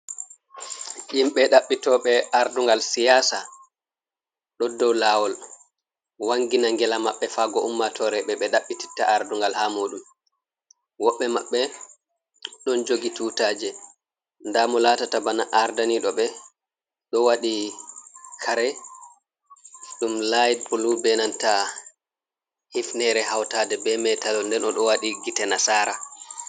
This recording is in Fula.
Himɓe dabbitoɓe ardungal siyasa, ɗo dou lawol, wangina ngela maɓɓe fago ummatore ɓe ɓe ɗaɓbɓititta ardungal ha muɗum. Woɓɓe maɓɓe, ɗon jogi tutaje, nɗa mo latata bana arɗaniɗo ɓe ɗo waɗi kare ɗum layit bulu ɓe nanta hifnere, hautaɗe ɓe metalo nden o ɗo waɗi gite nasara.